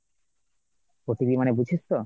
OTP মানে বুঝিস তো ?